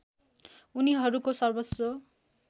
उनीहरूको सर्वस्व